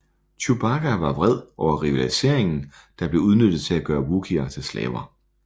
Chewbacca var vred over rivaliseringen der blev udnyttet til at gøre Wookier til slaver